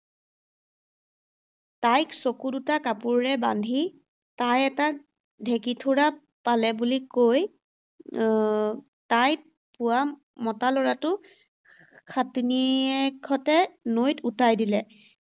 তাইক চকু দুটা কাপোৰেৰে বান্ধি তাই এটা ঢেঁকীথোৰা পালে বুলি কৈ, আহ তাই পোৱা মতা ল’ৰাটো সাতিনীয়েকহঁতে নৈত উটাই দিলে।